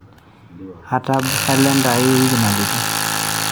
atab kaelnda aai ewiki nalotu